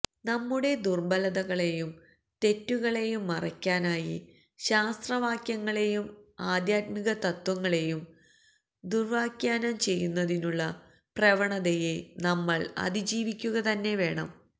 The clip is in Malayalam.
നമ്മുടെ ദുര്ബലതകളെയും തെറ്റുകളെയും മറയ്ക്കാനായി ശാസ്ത്രവാക്യങ്ങളെയും ആധ്യാത്മികതത്ത്വങ്ങളെയും ദുര്വ്യാഖ്യാനം ചെയ്യുന്നതിനുള്ള പ്രവണതയെ നമ്മള് അതിജീവിക്കുകതന്നെ വേണം